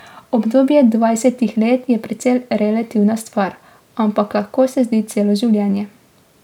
Obdobje dvajsetih let je precej relativna stvar, ampak lahko se zdi celo življenje.